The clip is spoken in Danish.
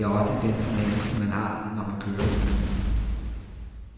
Det er også den fornemmelse, man har, når man kører i bilen.